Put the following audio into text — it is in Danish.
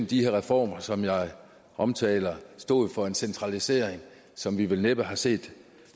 de her reformer som jeg omtaler stod for en centralisering som vi vel næppe har set